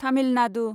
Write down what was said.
Tamil Nadu